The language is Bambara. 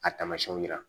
A tamasiɲɛw jira